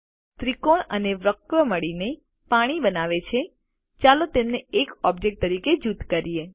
ત્રિકોણ અને વક્ર મળીને પાણી બનાવે છે ચાલો તેમને એક ઓબ્જેક્ટ તરીકે જૂથ કરીએ